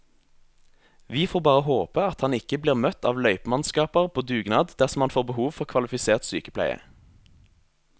Vi får bare håpe at han ikke blir møtt av løypemannskaper på dugnad dersom han får behov for kvalifisert sykepleie.